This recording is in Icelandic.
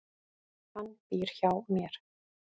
Hann býr hjá mér.